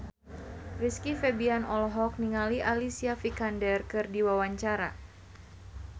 Rizky Febian olohok ningali Alicia Vikander keur diwawancara